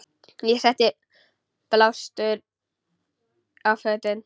Ég setti blástur á fötin.